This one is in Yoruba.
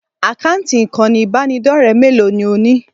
Àkáǹtì ìkànnì ìbánidọ́rẹ̀ẹ́ mélòó ni ò ní?